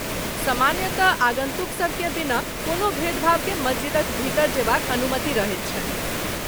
सामान्यतः आगन्तुकसभकेँ बिना कोनो भेदभावकेँ मस्जिदक भीतर जेबाक अनुमति रहैत छनि।